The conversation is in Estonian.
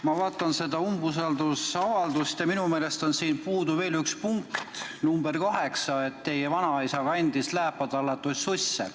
Ma vaatan seda umbusaldusavaldust ja minu meelest on siin puudu veel üks punkt: punkt nr 8, et teie vanaisa kandis lääpa tallatud susse.